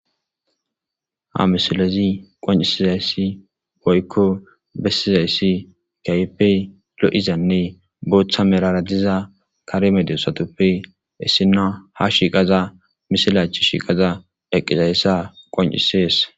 ha misilezi qoncisizayssi boykko bessizayssi gaype lo7izanne booththa merara diza karemede satoppe issina ha shiiqaza misila chi shiiqaza eqqizayssa qoncisees